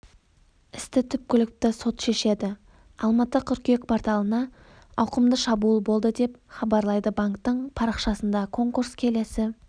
істі түпкілікті сот шешеді алматы қыркүйек порталына ауқымды шабуыл болды деп хабарлайды банктің парақшасында конкурс келесі